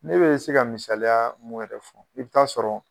Ne be se ka misaliya mun yɛrɛ fɔ i be taa sɔrɔ